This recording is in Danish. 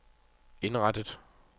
indrettet